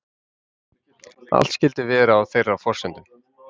Allt skyldi vera á þeirra forsendum